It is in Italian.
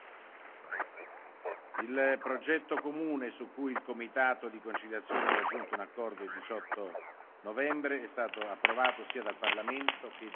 Il progetto comune su cui il comitato di conciliazione ha raggiunto un accordo il 18 novembre è stato approvato sia dal Parlamento che dal Consiglio.